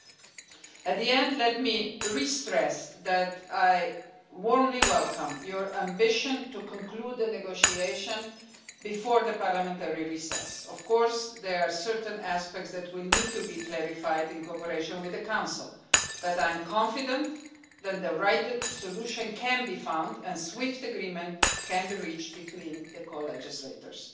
Finally, let me stress again that I warmly welcome your ambition to conclude the negotiation before the parliamentary recess. There are of course certain aspects that will need to be clarified in cooperation with the Council, but I am confident that the right solution can be found and swift agreement can be reached between the co legislators.